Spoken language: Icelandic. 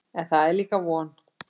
En það er líka von.